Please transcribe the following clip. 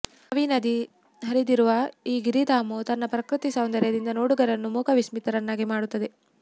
ರಾವಿ ನದಿ ಹರಿದಿರುವ ಈ ಗಿರಿಧಾಮವು ತನ್ನ ಪ್ರಕೃತಿ ಸೌಂದರ್ಯದಿಂದ ನೋಡುಗರನ್ನು ಮೂಕ ವಿಸ್ಮಿತರನ್ನಾಗಿ ಮಾಡುತ್ತದೆ